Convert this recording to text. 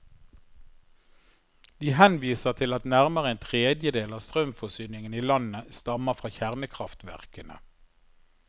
De henviser til at nærmere en tredjedel av strømforsyningen i landet stammer fra kjernekraftverkene.